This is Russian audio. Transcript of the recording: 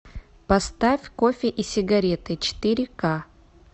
поставь кофе и сигареты четыре ка